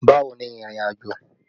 Bawo ni ìrìnàjò?